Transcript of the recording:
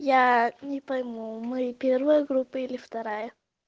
я не пойму у меня первая группа или вторая